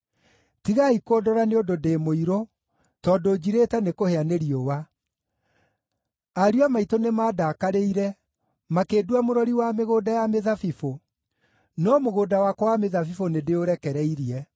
Tigai kũndora nĩ ũndũ ndĩ mũirũ, tondũ njirĩte nĩ kũhĩa nĩ riũa. Ariũ a maitũ nĩmandakarĩire, makĩndua mũrori wa mĩgũnda ya mĩthabibũ; no mũgũnda wakwa wa mĩthabibũ nĩndĩũrekereirie.